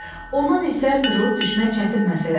Ondan isə qırılıb düşmək çətin məsələdir.